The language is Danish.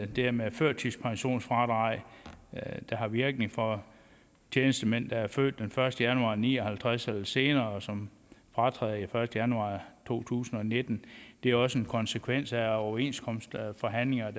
det med førtidspensionsfradraget der har virkning for tjenestemænd der er født den første januar nitten ni og halvtreds eller senere og som fratræder den første januar to tusind og nitten det er også en konsekvens af overenskomstforhandlinger